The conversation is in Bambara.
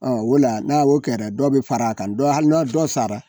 Ɔ ola n'a wo kɛra dɔ be far'a kan dɔ hali na dɔ sara